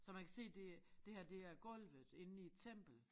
Så man kan se det det her det er gulvet inde i et tempel